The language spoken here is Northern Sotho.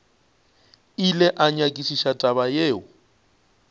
ile a nyakišiša taba yeo